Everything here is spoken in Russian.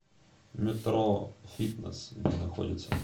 метрофитнес где находится